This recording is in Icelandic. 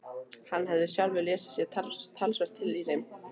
Hann hafði sjálfur lesið sér talsvert til í þeim.